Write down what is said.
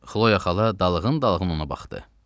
Xloya xala dalğın-dalğın ona baxdı.